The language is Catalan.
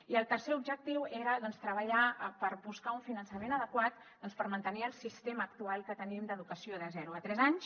i el tercer objectiu era treballar per buscar un finançament adequat per mantenir el sistema actual que tenim d’educació de zero a tres anys